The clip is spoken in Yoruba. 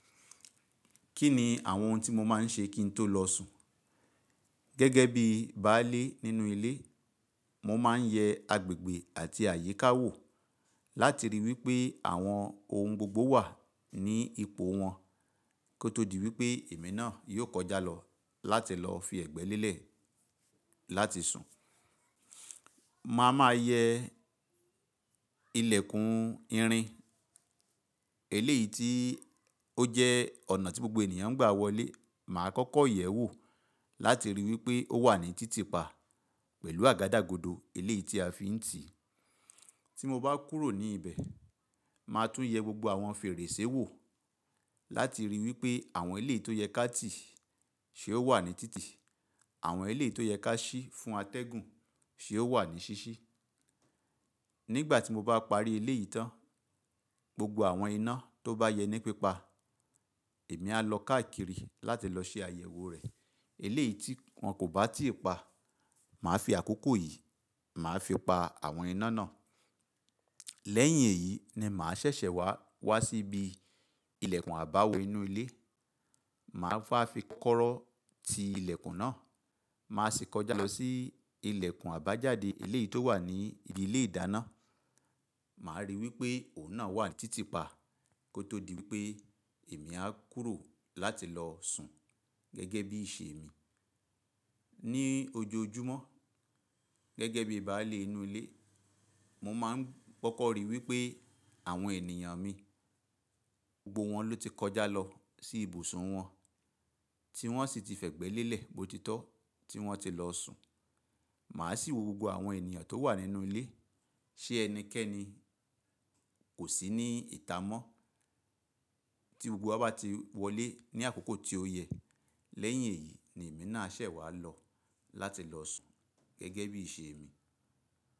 Kí ni àwọn ohun tí mo má n ṣe kí n tó lọ sùn? Gẹ́gẹ́ bí baálé nínú ilé, mo má n yẹ agbègbè àti àyíká wò láti ríi wípé àwọn ohun gbogbo wà ní ipò wọn kó tó di wípé èmi náà yóò kọjá lọ láti lọ fi ẹ̀gbẹ́ lé lè láti sùn. Má a máa yẹ ilẹ̀kùn irin, eléyìí tí ó jẹ́ ọ̀nà tí gbogbo ènìyàn ń gbà wọlé, mà á kọ́kọ́ yẹ̀ ẹ́ wò láti ríi wípé ó wà ní títìpa pẹ̀lú àgádágodo eléyìí tí a fi ń tì. Tí mo bá kúrò ní ibẹ̀, mà á tún yẹ gbogbo àwọn fèrèsé wò láti ríi wípé àwọn eléyìí tó yẹ ká tì ṣe ó wà ní títì, àwọn eléyìí tó yẹ ká ṣí fún atẹ́gùn ṣe ó wà ní ṣíṣí. Nígbà tí mo bá parí eléyìí tán, gbogbo àwọn iná tó bá yẹ ní pípa, èmi a lọ káàkiri láti lọ ṣe àyẹ̀wò rẹ̀. Eléyìí tí wọn kò bá tí ì pa, mà á fi àkókò yìí, mà á fi pa àwọn iná náà. Lẹ́yìn èyí ni mà á ṣẹ̀ṣẹ̀ wá wá síbi ilẹ̀kùn àbáwọ inu ilé, mà á fi kọ́rọ́ ti ilẹ̀kùn náà, mà á sì kọjá lọ sí ilẹ̀kùn àbájáde eléyìí tó wà ní ibi ilé ìdáná, mà á ríi wípé òun náà wà ní títìpa kó tó di wípé èmi á kúrò láti lọ sùn gẹ́gẹ́ bí i ṣe èmi. Ni ojoojúmọ́, gẹ́gẹ́ bí baálé inú ilé, mo má n kọ́kọ́ ríi wípé àwọn ènìyàn mi gbogbo wọn ló ti kọjá lọ sí ibùsùn wọn tí wọ́n sì ti fẹ̀gbẹ́ lé lè bo tí tọ́ tí wọ́n ti lọ sùn. Mà á sì wo gbogbo àwọn ènìyàn tó wà nínú ilé, ṣé ẹnikẹ́ni kò sí ní ìta mọ́. Tí gbogbo wa bá ti wọlé ní àkókò tí ó yẹ, lẹ́yìn èyí ni èmi náà ṣẹ̀ wá lọ láti lọ sùn gẹ́gẹ́ bí iṣe èmi.